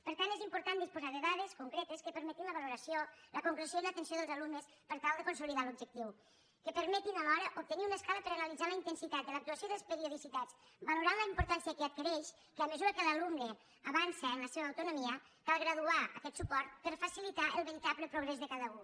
per tant és important disposar de dades concretes que permetin la valoració la concreció i l’atenció dels alumnes per tal de consolidar l’objectiu que permetin alhora obtenir una escala per analitzar la intensitat de l’actuació i de les periodicitats que valori la importància que adquireix que a mesura que l’alumne avança en la seva autonomia cal graduar aquest suport per facilitar el veritable progrés de cada u